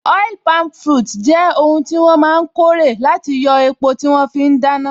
Oil palm fruits jẹ́ oun tí wọ́n máa n kórè láti yóò epo tí wọ́n fí n dáná